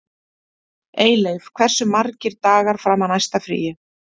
Eyleif, hversu margir dagar fram að næsta fríi?